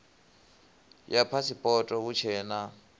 ya phasipoto hu tshee na